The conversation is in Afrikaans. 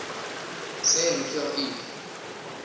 sê hoeveel u